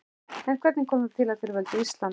En hvernig kom það til að þeir völdu Ísland?